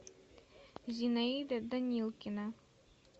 зинаида данилкина